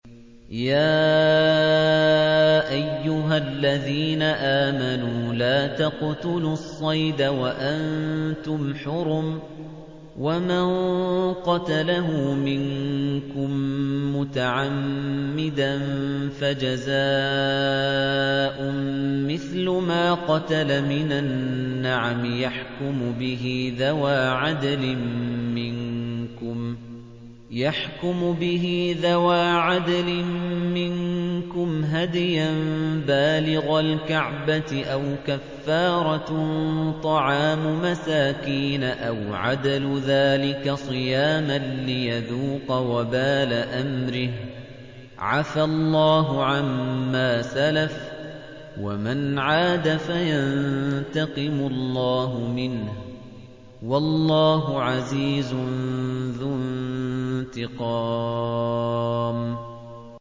يَا أَيُّهَا الَّذِينَ آمَنُوا لَا تَقْتُلُوا الصَّيْدَ وَأَنتُمْ حُرُمٌ ۚ وَمَن قَتَلَهُ مِنكُم مُّتَعَمِّدًا فَجَزَاءٌ مِّثْلُ مَا قَتَلَ مِنَ النَّعَمِ يَحْكُمُ بِهِ ذَوَا عَدْلٍ مِّنكُمْ هَدْيًا بَالِغَ الْكَعْبَةِ أَوْ كَفَّارَةٌ طَعَامُ مَسَاكِينَ أَوْ عَدْلُ ذَٰلِكَ صِيَامًا لِّيَذُوقَ وَبَالَ أَمْرِهِ ۗ عَفَا اللَّهُ عَمَّا سَلَفَ ۚ وَمَنْ عَادَ فَيَنتَقِمُ اللَّهُ مِنْهُ ۗ وَاللَّهُ عَزِيزٌ ذُو انتِقَامٍ